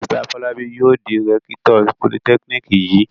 Mr Fọlábí yóò di rẹ́kítọ̀ politẹ́kíníkì yìí.